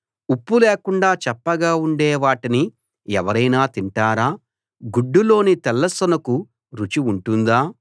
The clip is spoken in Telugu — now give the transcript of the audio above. ఉప్పు లేకుండా చప్పగా ఉండే వాటిని ఎవరైనా తింటారా గుడ్డులోని తెల్ల సొనకు రుచి ఉంటుందా